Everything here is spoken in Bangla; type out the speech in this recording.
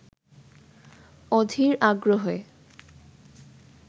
অধীর আগ্রহে